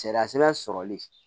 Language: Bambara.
Sariya sɛbɛn sɔrɔli